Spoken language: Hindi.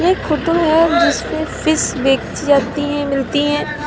फोटो है जिसमें फिश बेची जाती है मिलती हैं।